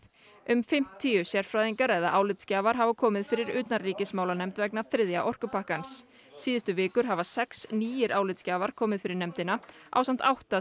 um fimmtíu sérfræðingar eða álitsgjafar hafa komið fyrir utanríkismálanefnd vegna þriðja orkupakkans síðustu vikur hafa sex nýir álitsgjafar komið fyrir nefndina ásamt átta